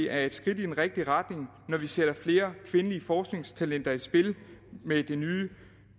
er et skridt i den rigtige retning når vi sætter flere kvindelige forskningstalenter i spil med det nye